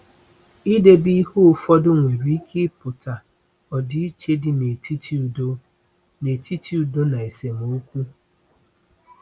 Idebe ihe ụfọdụ nwere ike ịpụta ọdịiche dị n'etiti udo n'etiti udo na esemokwu.